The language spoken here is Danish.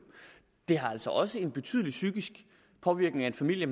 det har altså også en betydelig psykisk påvirkning af en familie